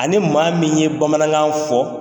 Ani maa min ye bamanankan fɔ